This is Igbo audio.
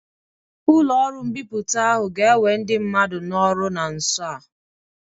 Ụlọ ọrụ mbipụta ahu ga-ewe ndị mmadụ n'ọrụ na nso a.